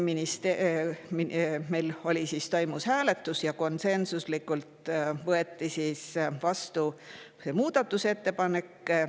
Meil toimus hääletus ja konsensuslikult võeti vastu muudatusettepanek.